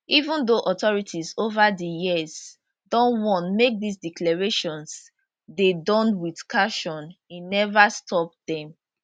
even though authorities over di years don warn make dis declarations dey Accepted with caution e never stop dem